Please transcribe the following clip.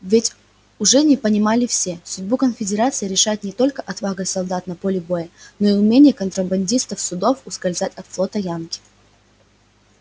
ведь уже не понимали все судьбу конфедерации решает не только отвага солдат на поле боя но и умение контрабандистов судов ускользать от флота янки